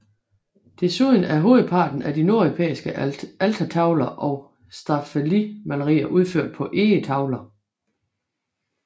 Desuden er hovedparten af de nordeuropæiske altertavler og staffelimalerier udført på egetavler